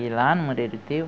E lá no Moreiro Teu,